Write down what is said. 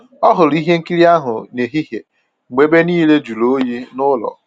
Ọ hụrụ ihe nkiri ahụ nehihie mgbe ebe niile jụrụ oyi nụlọ